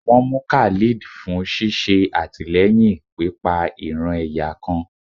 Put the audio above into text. won mú Khalid fún sìsé atilẹyín pipa ìran-ẹ̀yà kan